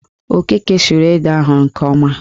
Okeke suru ede ahụ nke ọma